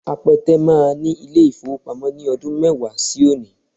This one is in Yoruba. Apẹtẹ máa ní ilé-ìfowópamọ́ ní ọdún mẹ́wàá sí òní